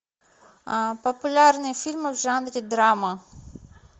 популярные фильмы в жанре драма